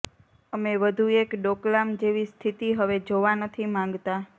અમે વધુ એક ડોકલામ જેવી સ્થિતિ હવે જોવા નથી માંગતા